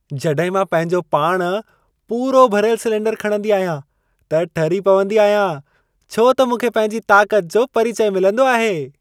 जॾहिं मां पंहिंजो पाण पूरो भरियल सिलेंडर खणंदी आहियां, त ठरी पवंदी आहियां। छो त मूंखे पंहिंजी ताक़त जो परिचय मिलंदो आहे।